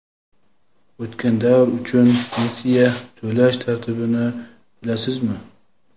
O‘tgan davr uchun pensiya to‘lash tartibini bilasizmi?.